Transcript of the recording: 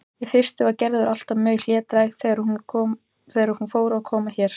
Í fyrstu var Gerður alltaf mjög hlédræg þegar hún fór að koma hér.